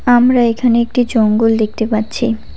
আমরা এখানে একটি জঙ্গল দেখতে পাচ্ছি।